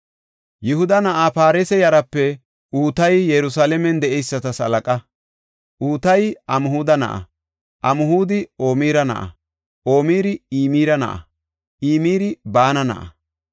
Yihuda na7aa Paaresa yaraape Utayi Yerusalaamen de7eysatas halaqa. Utayi Amhuda na7a; Amhudi Omira na7a; Omiri Imira na7a; Imiri Baana na7a.